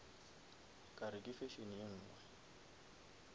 kare ke fashion ye nngwe